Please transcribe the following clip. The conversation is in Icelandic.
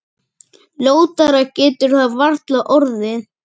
Ljótara getur það varla orðið.